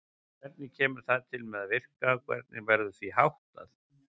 Hvernig kemur það til með að virka og hvernig verður því háttað?